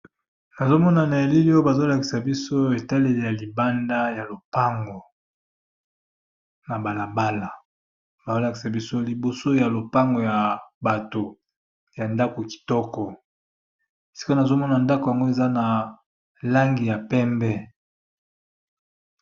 Nazo mona na elili oyo bazo lakisa biso etaleli ya libanda ya lopango, na bala bala. Bazo lakisa biso liboso ya lopango ya bato ya ndako kitoko, sika nazo mona ndako yango eza na langi ya pembe.